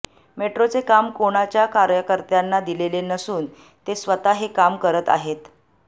मेट्रोचे काम कोणाच्या कार्यकर्त्यांना दिलेले नसून ते स्वतः हे काम करत आहेत